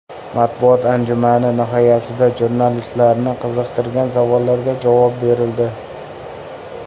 Matbuot anjumani nihoyasida jurnalistlarni qiziqtirgan savollariga javob berildi.